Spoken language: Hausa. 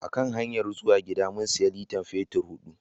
A hanyar zuwa gida, mun siya litar fetur hudu.